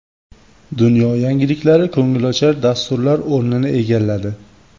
Dunyo yangiliklari ko‘ngilochar dasturlar o‘rnini egalladi.